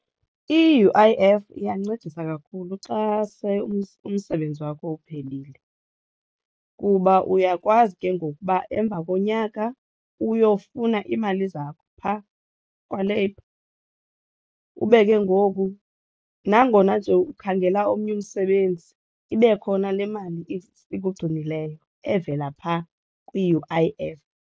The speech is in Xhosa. I-U_I_F iyancedisa kakhulu xa se umsebenzi wakho uphelile kuba uyakwazi ke ngoku uba emva konyaka uyofuna iimali zakho phaa kwaLabor, ube ke ngoku nangona nje ukhangela omnye umsebenzi ibe khona le mali ikugcinileyo evela phaa kwi-U_I_F.